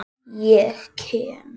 Ég kem.